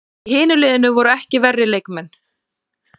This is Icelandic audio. Í hinu liðinu voru ekki verri leikmenn!